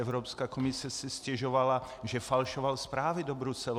Evropská komise si stěžovala, že falšoval zprávy do Bruselu.